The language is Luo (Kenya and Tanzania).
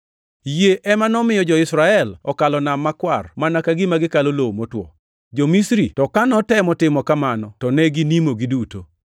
Yie ema nomiyo jo-Israel okalo Nam Makwar mana ka gima gikalo lowo motwo. Jo-Misri to ka notemo timo kamano to ne ginimo giduto.